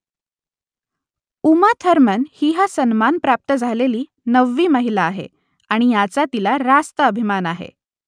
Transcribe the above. Uma Thurman ही हा सन्मान प्राप्त झालेली नववी महिला आहे आणि याचा तिला रास्त अभिमान आहे